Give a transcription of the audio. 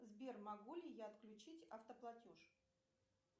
сбер могу ли я включить автоплатеж